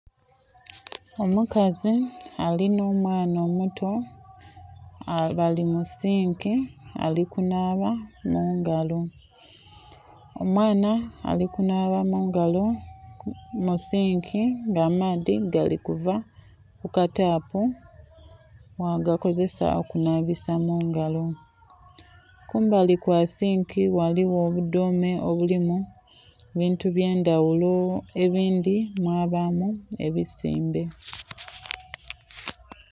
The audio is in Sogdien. Omukazi alina omwaana omuto bali mu sinki alikunhaaba mungalo. Omwaana ali okunhaaba mungalo mu sinki nga amaadhi gali kuva mu katapu mwaga kozesa okunhaba mu ngalo, kumbali kwa sinki kuliku obudhome olulimu ebintu ebye ndhaghulo ebindhi mwabamu ebisimbe.